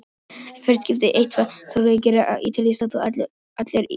Í hvert skipti sem eitthvað sorglegt gerist á Ítalíu þá stoppa allir öllu.